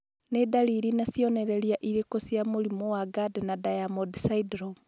Nĩ ndariri na cionereria irĩkũ cia mũrimũ wa Gardner Diamond syndrome?